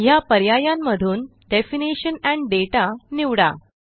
ह्या पर्यायांमधून definition and data निवडा